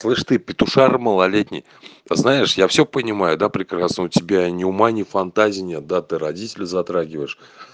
слышь ты петушара малолетний знаешь я всё понимаю да прекрасно у тебя ни ума ни фантазии нет да ты родителей затрагиваешь